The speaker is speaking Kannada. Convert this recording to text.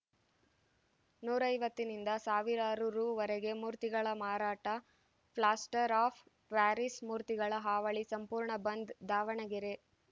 ನೂರ ಐವತ್ತನಿಂದ ಸಾವಿರಾರು ರುವರೆಗೆ ಮೂರ್ತಿಗಳ ಮಾರಾಟ ಫ್ಲಾಸ್ಟರ್‌ ಆಫ್‌ ಪ್ಯಾರಿಸ್‌ ಮೂರ್ತಿಗಳ ಹಾವಳಿ ಸಂಪೂರ್ಣ ಬಂದ್‌ ದಾವಣಗೆರೆ